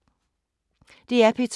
DR P2